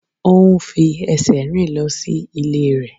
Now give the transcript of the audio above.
Ó ń fi ẹsẹ̀ rìn lọ sí ilé rẹ̀.